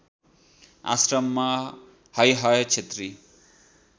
आश्रममा हैहय क्षेत्री